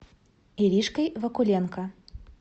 иришкой вакуленко